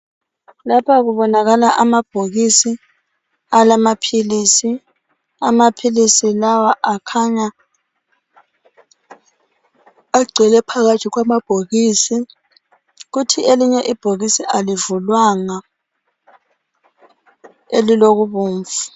Lapha kubonakala amabhokisi alamaphilisi. Amaphilisi lawa akhanya agcwele phakathi kwamabhokisi. Kuthi elinye ibhokisi alivulwanga elilobubomvu.